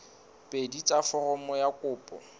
pedi tsa foromo ya kopo